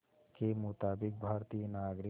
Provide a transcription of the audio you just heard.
के मुताबिक़ भारतीय नागरिक